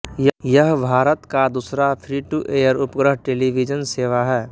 यह भारत का दूसरा फ्रीटूएयर उपग्रह टेलीविजन सेवा है